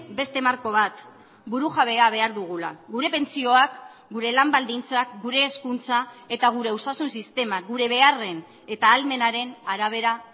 beste marko bat burujabea behar dugula gure pentsioak gure lan baldintzak gure hezkuntza eta gure osasun sistema gure beharren eta ahalmenaren arabera